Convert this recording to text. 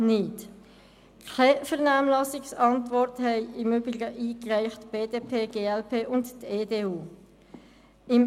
Keine Vernehmlassungsantwort reichten im Übrigen BDP, glp und EDU ein.